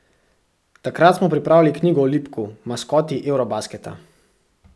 Takrat smo pripravljali knjigo o Lipku, maskoti eurobasketa.